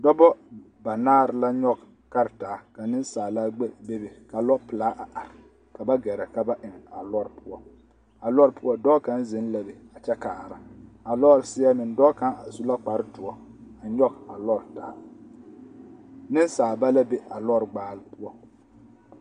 Dɔbɔ banaare la nyɔge karetaa ka nensaalaa gbɛre bebe ka lɔpelaa a are ka ba gɛrɛ ka ba eŋ a lɔre poɔ, a lɔre poɔ dɔɔ kaŋ zeŋ la be a kyɛ kaara, a lɔre seɛ meŋ dɔɔ kaŋ su la kpare doɔ a nyɔge a lɔre taa, nensaaba la be a lɔre gbaale poɔ.